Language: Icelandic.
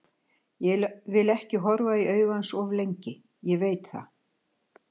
Ég vil ekki horfa í augu hans of lengi, ég veit það.